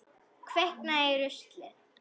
Kviknað í rusli?